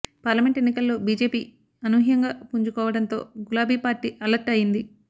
parliament ఎన్నికల్లో BJP అనూహ్యంగా పుంజుకోవడంతో గులాబీ పార్టీ అలర్ట్ అయ్యింది